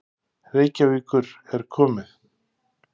Reykjavíkur er komið.